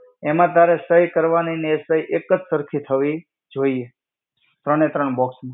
એમાં તારે સહી કરવાની અને એક જ સરખી થવી જોઈએ. ત્રણે ત્રણ box માં.